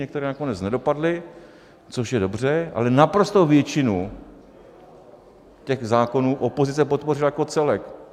Některé nakonec nedopadly, což je dobře, ale naprostou většinu těch zákonů opozice podpořila jako celek.